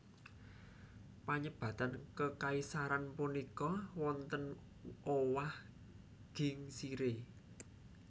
Panyebatan kekaisaran punika wonten owah gingsiré